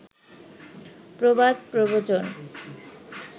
প্রবাদ প্রবচন